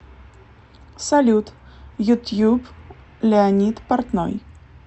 салют ютуб леонид портной